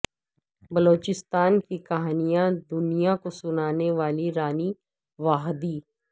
بلوچستان کی کہانیاں دنیا کو سنانے والی رانی واحدی